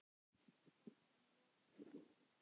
Þá kom í ljós að